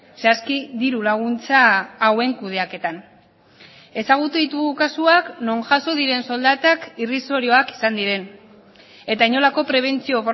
zehazki diru laguntza hauen kudeaketan ezagutu ditugu kasuak non jaso diren soldatak irrisorioak izan diren eta inolako prebentzio